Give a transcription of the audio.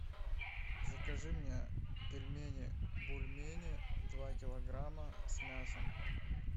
закажи мне пельмени бульмени два килограмма с мясом